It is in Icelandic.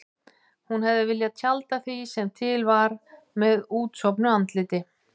Hún hefði viljað tjalda því sem til var með útsofnu andliti.